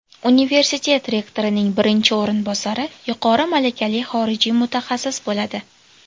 Universitet rektorining birinchi o‘rinbosari yuqori malakali xorijiy mutaxassis bo‘ladi.